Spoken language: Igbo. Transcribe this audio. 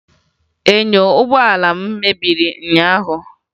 Enyo ụgbọala m mebiri ụnyaahụ